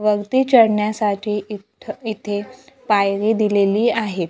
वरती चढण्यासाठी इथं इथे पायरी दिलेली आहे.